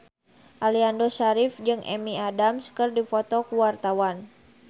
Aliando Syarif jeung Amy Adams keur dipoto ku wartawan